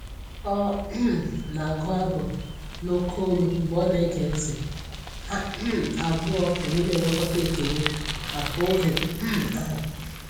Ọ um na agụ abụ n'oke ólú mgbe ọ na ege ntị, ha um abụọ wee na enwekọta ekele maka oge um ahụ